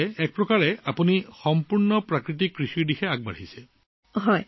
গতিকে আপুনি সম্পূৰ্ণ প্ৰাকৃতিক খেতি অৰ্থাৎ জৈৱিক কৃষিৰ দিশত আগবাঢ়িছে